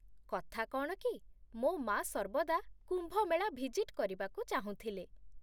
କଥା କ'ଣ କି, ମୋ ମା' ସର୍ବଦା କୁମ୍ଭ ମେଳା ଭିଜିଟ୍ କରିବାକୁ ଚାହୁଁଥିଲେ